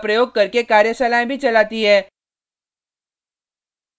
spoken tutorials का उपयोग करके कार्यशालाएँ भी चलाती है